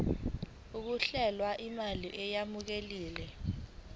kukhokhelwe imali eyamukelekile